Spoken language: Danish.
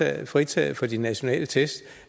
er fritaget for de nationale test